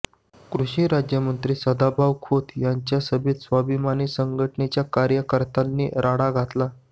कृषी राज्यमंत्री सदाभाऊ खोत यांच्या सभेत स्वाभिमानी संघटनेच्या कार्यकर्त्यांनी राडा घातला